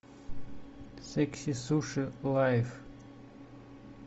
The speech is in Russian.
секси суши лайф